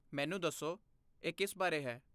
ਮੈਨੂੰ ਦੱਸੋ, ਇਹ ਕਿਸ ਬਾਰੇ ਹੈ?